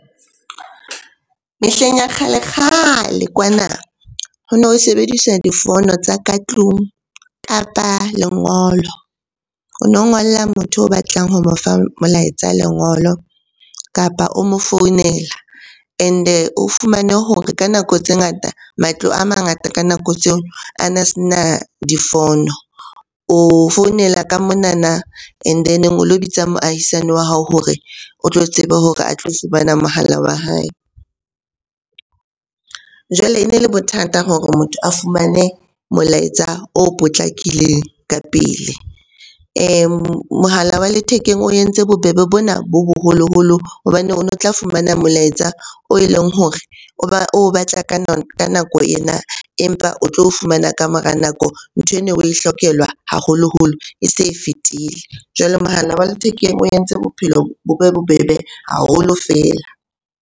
Mehleng ya kgalekgale kwana ho no sebediswa difono tsa ka tlung, kapa lengolo. O no ngolla motho o batlang ho mo fa molaetsa lengolo, kapa o mo founela and-e o fumane hore ka nako tse ngata matlo a mangata ka nako tseo a na se na difono. O founela ka monana and then o lo bitsa moahisane wa hao hore o tlo tseba hore a tlo fumana mohala wa hae. Jwale e ne le bothata hore motho a fumane molaetsa o potlakileng ka pele. Mohala wa lethekeng o entse bobebe bona bo boholoholo hobane o no tla fumana molaetsa oe leng hore o batla ka nako ena, empa o tlo fumana ka mora nako. Nthwe no oe hlokelwa haholoholo e se e fetile. Jwale mohala wa lethekeng o entse bophelo bo be bobebe haholo feela.